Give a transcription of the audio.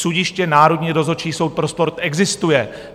Sudiště Národní rozhodčí soud pro sport existuje.